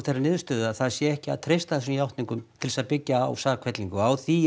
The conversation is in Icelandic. þeirri niðurstöðu að það sé ekki að treysta þessum játningum til að byggja á sakfellingu á því